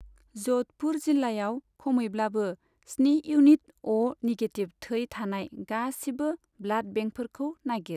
ज'धपुर जिल्लायाव खमैब्लाबो स्नि इउनिट अ' निगेटिभ थै थानाय गासिबो ब्लाड बेंकफोरखौ नागिर।